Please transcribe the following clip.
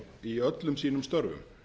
í öllum sínum störfum